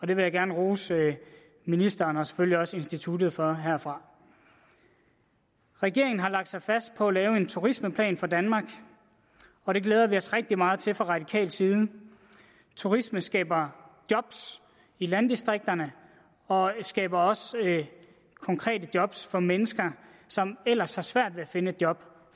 det vil jeg gerne rose ministeren og selvfølgelig også instituttet for herfra regeringen har lagt sig fast på at lave en turismeplan for danmark og det glæder vi os rigtig meget til fra radikal side turisme skaber job i landdistrikterne og skaber også konkrete job for mennesker som ellers har svært ved at finde et job